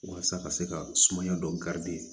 Walasa ka se ka sumaya dɔ garidi